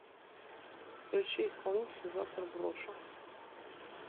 включи исполнителя завтра брошу